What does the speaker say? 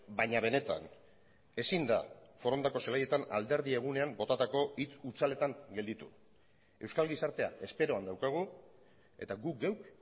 baina benetan ezin da forondako zelaietan alderdi egunean botatako hitz hutsaletan gelditu euskal gizartea esperoan daukagu eta guk geuk